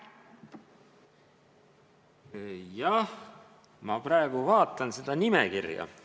Jah, ma praegu vaatan seda nimekirja.